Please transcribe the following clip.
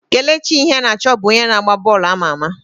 Kelechi Iheanacho bụ onye na agba bọọlụ ama ama.